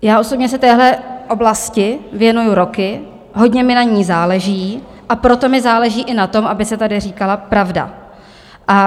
Já osobně se téhle oblasti věnuji roky, hodně mi na ní záleží, a proto mi záleží i na tom, aby se tady říkala pravda.